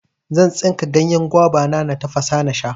Zan tsinka ganyen gwaba, na tafasa nasha.